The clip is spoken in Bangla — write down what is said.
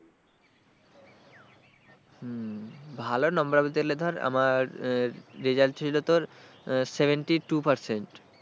হম ভালো number বলতে গেলে ধর আমার result ছিল তোর seventy two percent,